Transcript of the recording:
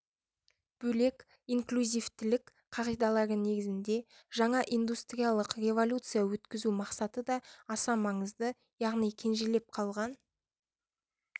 бөлек инклюзивтілік қағидалары негізінде жаңа индустриялық революция өткізу мақсаты да аса маңызды яғни кенжелеп қалған